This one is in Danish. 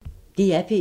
DR P1